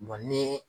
ni